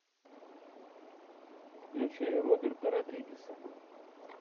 включай роберта родригеса